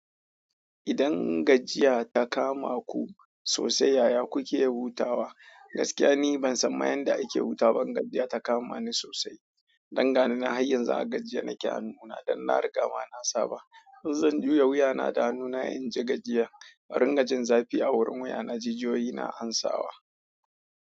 Idan gajiya ta kama ku sosai, yaya kuke hutawa? Gaskiya ni ban san yadda ake hutawa ba, in gajiya ta kama ni sosai. Dangani nan har yanzu a gajiye nake hanuna don na riga ma na saba. In zan juya wuya na da hanuna in ji gajiya, in dunga jin zafi a wurin wuya na jijiyoyi na ansawa.